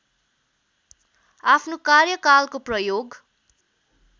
आफ्नो कार्यकालको प्रयोग